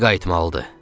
Geri qayıtmalıdır.